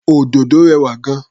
Òdòdó rẹwà gan-an.